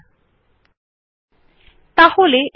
এই বিকল্পটি বড় আউটপুট সংগ্রহ সহজ করে তোলে